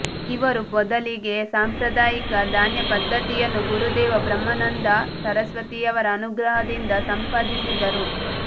ಇವರು ಮೊದಲಿಗೆ ಸಾಂಪ್ರದಾಯಿಕ ಧ್ಯಾನಪದ್ಧತಿಯನ್ನು ಗುರುದೇವ ಬ್ರಹ್ಮಾನಂದ ಸರಸ್ವತಿಯವರ ಅನುಗ್ರಹದಿಂದ ಸಂಪಾದಿಸಿದ್ದರು